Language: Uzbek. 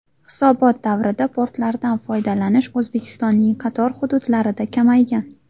Hisobot davrida portlardan foydalanish O‘zbekistonning qator hududlarida kamaygan.